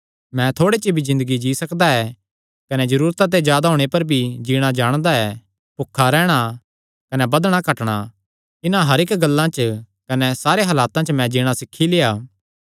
मैं थोड़े च भी ज़िन्दगी जी सकदा ऐ कने जरूरता ते जादा होणे पर भी जीणा जाणदा ऐ भुखा रैहणा कने बधणा घटणा इन्हां हर इक्क गल्ला च कने सारे हलातां च मैं जीणा सीखी लेआ